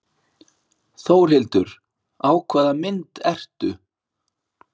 Þórhildur: Á hvaða mynd ertu?